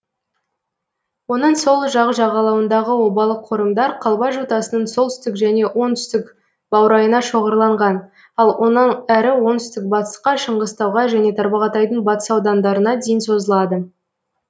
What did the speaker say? оның сол жақ жағалауындағы обалы қорымдар қалба жотасының солтүстік және оңтүстік баурайына шоғырланған ал онан әрі оңтүстік батысқа шыңғыстауға және тарбағатайдың батыс аудандарына дейін созылады